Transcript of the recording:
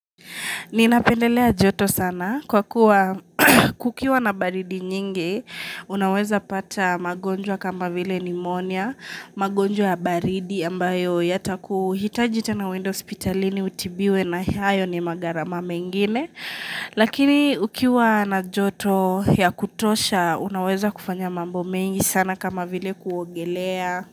Ninapendelea joto sana kwa kuwa kukiwa na baridi nyingi, unaweza pata magonjwa kama vile pneumonia, magonjwa baridi ambayo yata kuhitajita na windows hospitalini utibiwe na hayo ni magharama mengine. Lakini ukiwa na joto ya kutosha, unaweza kufanya mambo mengi sana kama vile kuogelea.